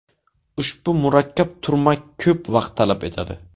Ushbu murakkab turmak ko‘p vaqt talab etadi.